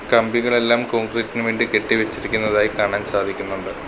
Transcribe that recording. കമ്പികളെല്ലാം concrete ഇന് വേണ്ടി കെട്ടി വെച്ചിരിക്കുന്നതായി കാണാൻ സാധിക്കുന്നുണ്ട്.